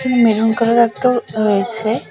Maroon কালারের একটাও রয়েছে।